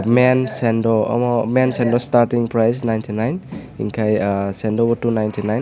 mens sando amo men sando staring price ninety nine kesando no two ninety nine.